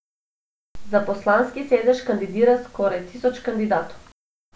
Za poslanski sedež kandidira skoraj tisoč kandidatov.